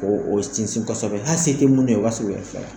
O o sinsin kosɛbɛ hali se tɛ munnu ye o b'a se o yɛrɛ fila